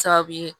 Sababu ye